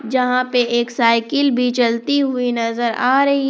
जहां पे एक साइकिल भी चलती हुई नजर आ रही--